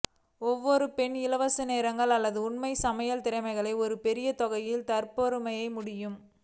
ஒவ்வொரு பெண் இலவச நேரம் அல்லது உண்மை சமையல் திறமைகள் ஒரு பெரிய தொகை தற்பெருமை முடியும்